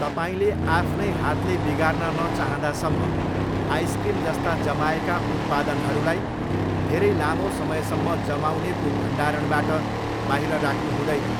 तपाईँले आफ्नै हातले बिगार्न नचाहँदासम्म आइसक्रिमजस्ता जमाएका उत्पादनहरूलाई धेरै लामो समयसम्म जमाउनेको भण्डारणबाट बाहिर राख्नु हुँदैन।